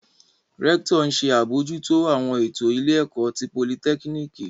Rẹktọ n ṣe abojuto awọn eto ile ẹkọ ti politekiniki